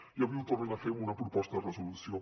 i avui ho tornen a fer amb una proposta de resolució